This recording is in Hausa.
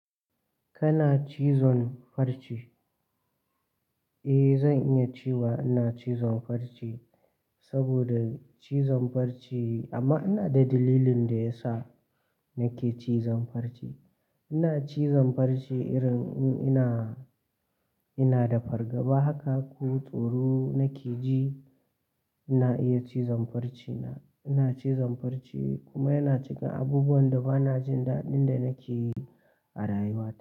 Kana cizon farce? Eh, zan iya cewa ina cizon farce saboda cizon farce amma ina da dalilin da ya sa nake cizon farce. Ina cizon farce irin in ina, ina da fargaba haka ko tsoro nake ji, ina iya cizon farce na Ina cizon farce kuma yana cika abubuwan da ba na jin daɗin da nake yi a rayuwata.